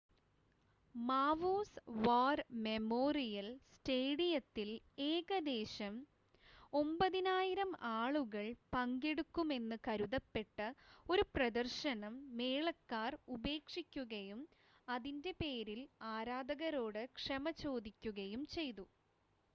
മാവൂസ് war memorial സ്റ്റേഡിയത്തിൽ ഏകദേശം 9,000 ആളുകൾ പങ്കെടുക്കുമെന്ന് കരുതപ്പെട്ട ഒരു പ്രദർശനം മേളക്കാർ ഉപേക്ഷിക്കുകയും അതിൻ്റെ പേരിൽ ആരാധകരോട് ക്ഷമ ചോദിക്കുകയും ചെയ്തു